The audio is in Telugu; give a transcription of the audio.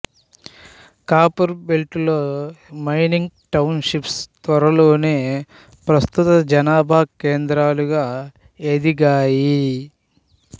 కాపరుబెల్టులో మైనింగు టౌనుషిప్పు త్వరలోనే ప్రస్తుత జనాభా కేంద్రాలుగా ఎదిగాయి